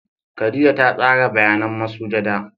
Khadijah ta tsara bayanan masujada.